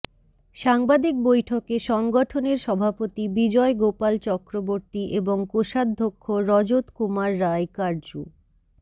সাংবাদিক বৈঠকে সংগঠনের সভাপতি বিজয় গোপাল চক্রবর্তী এবং কোষাধ্যক্ষ রজত কুমার রায় কার্জু